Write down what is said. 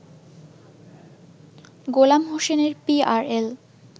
গোলাম হোসেনের পিআরএল